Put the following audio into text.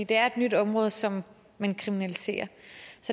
det er et nyt område som man kriminaliserer